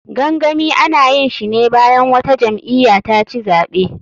Gangami, ana yinshine bayan wata jam'iya taci zaɓe.